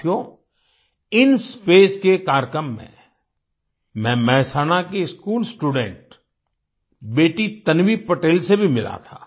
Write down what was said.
साथियो इंस्पेस के कार्यक्रम में मैं मेहसाणा की स्कूल स्टूडेंट बेटी तन्वी पटेल से भी मिला था